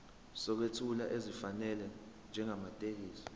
sokwethula esifanele njengamathekisthi